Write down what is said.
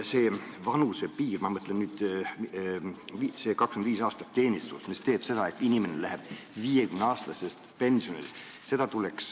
See ajapiir – ma mõtlen seda 25 aastat teenistust – teeb seda, et inimene läheb 50-aastaselt pensionile.